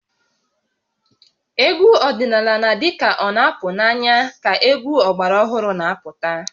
Egwu ọdịnala na-adị ka ọ na-apụ n'anya ka egwu ọgbara ọhụrụ na-apụta